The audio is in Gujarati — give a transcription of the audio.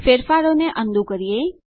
ફેરફારોને અન ડૂ કરીએ